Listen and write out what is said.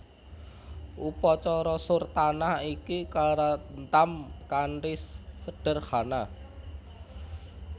Upacara surtanah iki karantam kanthi sederhana